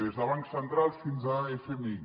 des de bancs centrals fins a fmi